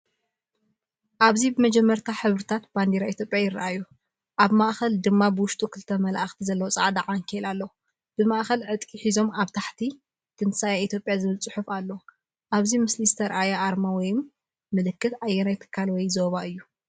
ኣብዚ መጀመርያ ሕብርታት ባንዴራ ኢትዮጵያ ይረኣዩ፤ ኣብ ማእከል ድማ ውሽጡ ክልተ መላእኽቲ ዘለዎ ጻዕዳ ዓንኬል ኣሎ። ብማእኸል ዕጥቂ ሒዞም ኣብ ታሕቲ "ትንሳኤ ኢትዮጵያ" ዝብል ጽሑፍ ኣሎ። ኣብዚ ምስሊ ዝተርኣየ ኣርማ ወይ ምልክት ኣየናይ ትካል ወይ ዞባ እዩ?